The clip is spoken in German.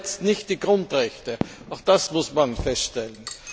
Aber es verletzt nicht die Grundrechte, auch das muss man feststellen.